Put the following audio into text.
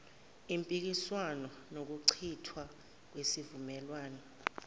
impikiswano nokuchithwa kwesivumelwane